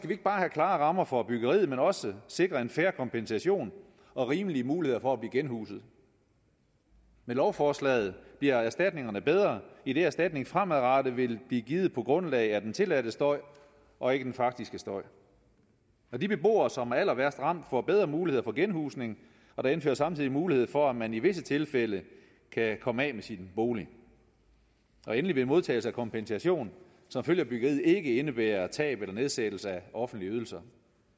vi ikke bare have klare rammer for byggeriet men også sikre en fair kompensation og rimelige muligheder for at blive genhuset med lovforslaget bliver erstatningerne bedre idet erstatning fremadrettet vil blive givet på grundlag af den tilladte støj og ikke den faktiske støj de beboere som er allerværst ramt får bedre muligheder for genhusning og der indføres samtidig mulighed for at man i visse tilfælde kan komme af med sin bolig endelig vil modtagelse af kompensation som følge af byggeriet ikke indebære tab eller nedsættelse af offentlige ydelser